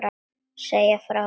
Segja frá.